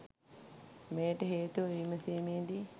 මෙයට හේතුව විමසීමේදී